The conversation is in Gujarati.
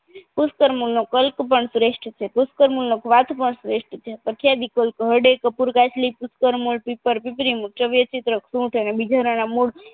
કુસત્કર્મ નો કલ્પ પણ શ્રેસ્ટ છે કુસત્કર્મનો કવાત પણ શ્રેસ્ટ છે અત્યાદી કોઇક હરડે કપૂર કાચલી કૂતકર્મનો પીપર પીપરી મુળ વેચીત્ર સુંઠ અને બિજોરના મૂળ